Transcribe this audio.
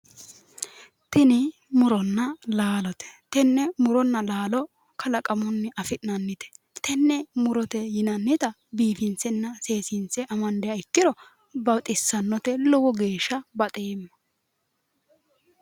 Tini muronna laalote. tenne muronna laalo kalaqamunni afi'nannite tenne murote yiannita biifinsenna seekkine amandiro baxissnnote lowo geeshsha baxeemma.